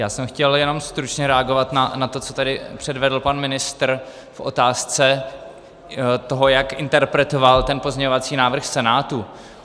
Já jsem chtěl jenom stručně reagovat na to, co tady předvedl pan ministr v otázce toho, jak interpretoval ten pozměňovací návrh Senátu.